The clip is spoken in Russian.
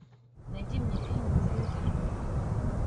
найди мне фильм лузер